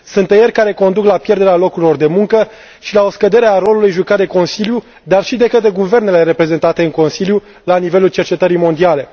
Sunt tăieri care conduc la pierderea locurilor de muncă și la o scădere a rolului jucat de Consiliu, dar și de către guvernele reprezentate în Consiliu la nivelul cercetării mondiale.